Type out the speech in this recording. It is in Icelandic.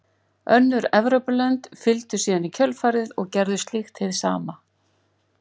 Önnur Evrópulönd fylgdu síðan í kjölfarið og gerðu slíkt hið sama.